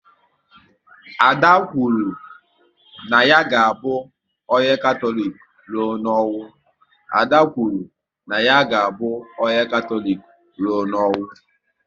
Ada kwuru na ya ga abụ onye Katọlik rụọ n'ọnwụ